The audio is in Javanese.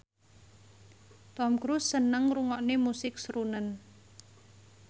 Tom Cruise seneng ngrungokne musik srunen